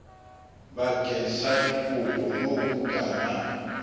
bakeng sa dikopo moo bukana